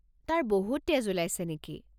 তাৰ বহুত তেজ ওলাইছে নেকি?